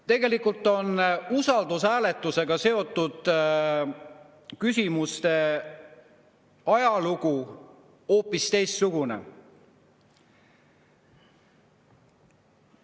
" Tegelikult on usaldushääletusega seotud ajalugu hoopis teistsugune.